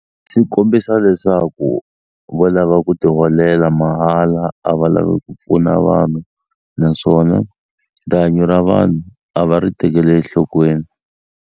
Swi kombisa leswaku vo lava ku ti holela mahala a va lavi ku pfuna vanhu naswona rihanyo ra vanhu a va ri tekeli ehlokweni.